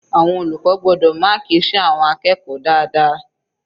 Àwọn olùkọ́ gbọ́dọ̀ máàkì iṣẹ́ àwọn akẹ́kọ̀ọ́ dáadáa.